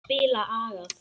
Spila agað!